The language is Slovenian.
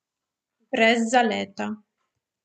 Brez zaleta.